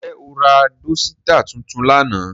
Njẹ o ra dosita tuntun lánà?